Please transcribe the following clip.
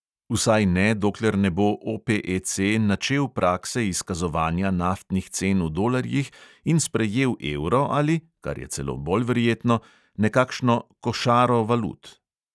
Vsaj ne, dokler ne bo OPEC načel prakse izkazovanja naftnih cen v dolarjih in sprejel evro ali, kar je celo bolj verjetno, nekakšno "košaro" valut.